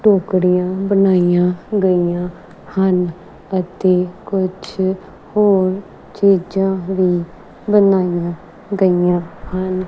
ਟੋਕਰਿਆਂ ਬਣਾਈਆਂ ਗਈਆਂ ਹਨ ਅਤੇ ਕੁਛ ਹੋਰ ਚੀਜਾਂ ਵੀ ਬਣਾਇਆ ਗਿਆ ਹਨ।